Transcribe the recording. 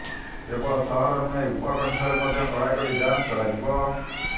କେବଳ ସହର ନୁହେଁ ଉପକଣ୍ଠରେ ମଧ୍ୟ କଡ଼ାକଡ଼ି ଯାଂଚ କରାଯିବ